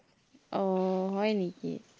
আহ হয় নেকি?